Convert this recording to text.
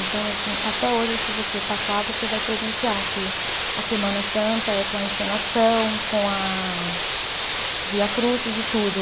Então assim, até hoje, se você passar, você vai presenciar que a Semana Santa é com a encenação, com a Via Crucis e tudo.